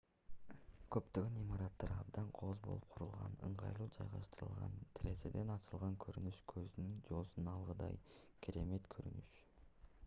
көптөгөн имараттар абдан кооз болуп курулган ыңгайлуу жайгаштырылган терезеден ачылган көрүнүш көздүн жоосун алгыдай керемет көрүнүш